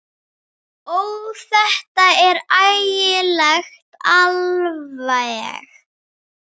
Ó, þetta er ægilegt alveg.